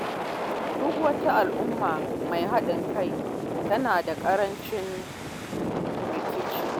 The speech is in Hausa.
Duk wata al’umma mai haɗin kai tana da ƙarancin rikici.